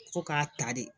Fo k'a ta de